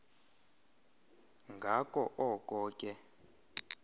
ngako oko ke